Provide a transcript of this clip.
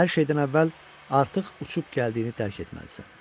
Hər şeydən əvvəl artıq uçub gəldiyini dərk etməlisən.